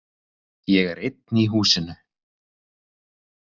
Ég er einn í húsinu.